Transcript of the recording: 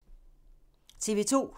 TV 2